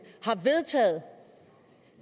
har vedtaget